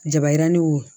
Jabayirani wo